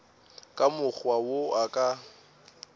ka mokgwa wo a ka